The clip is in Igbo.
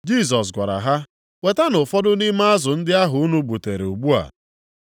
Jisọs gwara ha, “Wetanụ ụfọdụ nʼime azụ ndị ahụ unu gbutere ugbu a.”